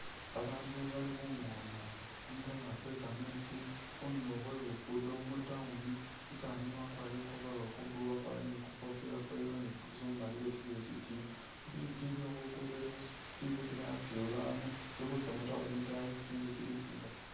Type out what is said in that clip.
Babandu bali khungoona kumutaaro kwe kameetsi khundulo khwe luguudo mu town, umusaani wakwarire ku overall kwa blue wakwarire ne kukofila kwa yellow ne boots umumali wetilile sitiiyo ipikipiki iliwo khulugudo ili khutiima yasutile babandu ili khutsa mu town itaayi isi tsinzu tsili tsingaali.